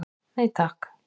Nei takk.